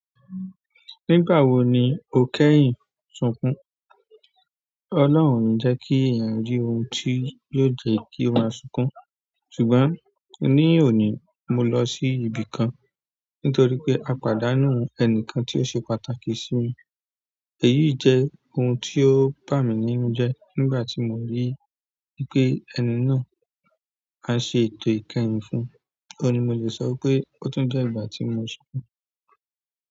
Nígbà wo ni o kẹ́yìn sunkún? Ọlọ́hun ò ní jẹ́ kí èyàn rí oun tí yóò jẹ́ kí ó máa sunkún, ṣùgbọ́n ni òní, mo lọ sí ibìkan nitoripe a pàdánù ẹnìkan tí o ṣe pàtàkì simi. Èyí jẹ́ ohun tí ó bà mí nínú jẹ nígbà tí mo rí i pé ẹni náà á ṣe ètò ìkẹyìn fún. Óun ni mo lè sọ wipé ó tún jẹ́ ìgbà tí mo sunkún.